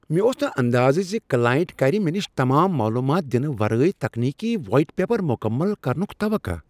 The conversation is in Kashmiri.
مےٚ اوس نہٕ اندازٕ زِ کلاینٹ کرِ مےٚ نش تمام معلومات دِنہٕ ورٲے ٹیکنیکی وایٹ پیپر مکمل کرنک توقع۔